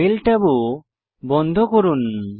mail ট্যাবও বন্ধ করুন